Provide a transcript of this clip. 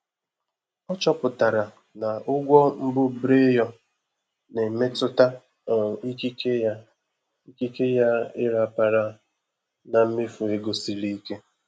Ọ chọpụtara na ụgwọ mbubreyo na-emetụta um ikike ya ikike ya ịrapara na mmefu ego siri ike.